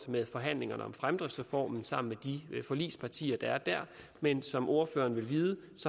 med i forhandlingerne om fremdriftsreformen sammen med de forligspartier der er der men som ordføreren vil vide